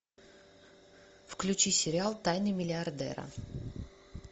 включи сериал тайны миллиардера